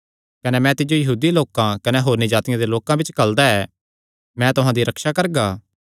कने मैं तिज्जो यहूदी लोकां कने होरनी जातिआं दे लोकां बिच्च घल्लदा ऐ मैं तुहां दी रक्षा करगा